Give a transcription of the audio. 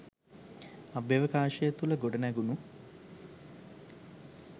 අභ්‍යවකාශය තුල ගොඩ නැගුනු